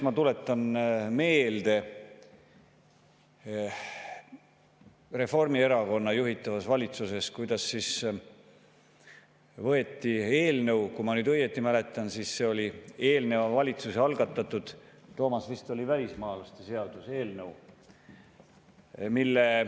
Ma tuletan meelde, kuidas Reformierakonna juhitava valitsuse ajal, Kaja Kallase valitsuse ajal leiti komisjoni sahtlist üles üks eelnõu, kui ma õigesti mäletan, eelneva valitsuse algatatud eelnõu, vist välismaalaste seaduse eelnõu.